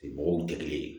Bɔgɔw tɛ kelen ye